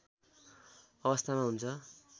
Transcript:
अवस्थामा हुन्छ